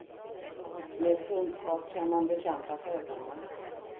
Med kunskap kan man bekämpa fördomar.